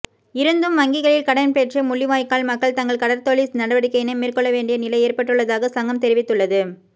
இருந்தும் வங்கிகளில் கடன் பெற்றே முள்ளிவாய்க்கால் மக்கள் தங்கள் கடற்தொழில் நடவடிக்கையினை மேற்கொள்ளவேண்டிய நிலை ஏற்பட்டுள்ளதாக சங்கம் தெரிவித்துள்ளது